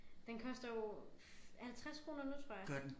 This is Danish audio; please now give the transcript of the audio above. Den koster jo 50 kroner nu tror jeg